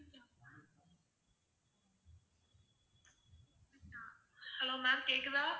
hello ma'am கேக்குதா?